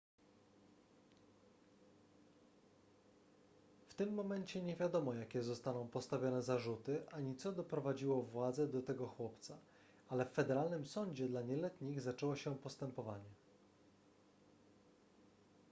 w tym momencie nie wiadomo jakie zostaną postawione zarzuty ani co doprowadziło władze do tego chłopca ale w federalnym sądzie dla nieletnich zaczęło się postępowanie